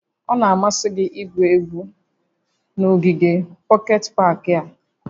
Ọ na-amasị gị igwu egwu n'ogige pọket pak a?